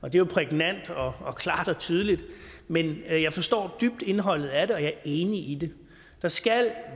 er jo prægnant og og klart og tydeligt men jeg jeg forstår dybt indholdet af det og jeg er enig i det der skal